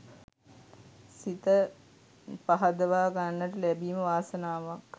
සිත පහදවා ගන්නට ලැබීම වාසනාවක්.